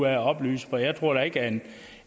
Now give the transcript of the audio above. af at oplyse for jeg tror ikke at